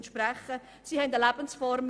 Sie haben eine Lebensform.